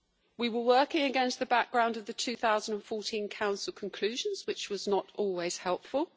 We were working against the background of the 2014 Council conclusions, which was not always helpful.